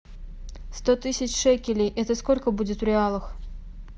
сто тысяч шекелей это сколько будет в реалах